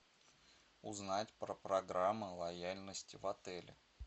узнать про программы лояльности в отеле